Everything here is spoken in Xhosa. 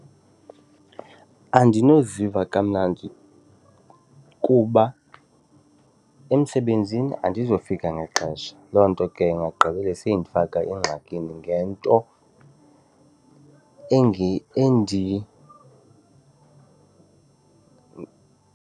Andinoziva kamnandi kuba emsebenzini andizofika ngexesha, loo nto ke ingagqibela seyindifaka engxakini ngento .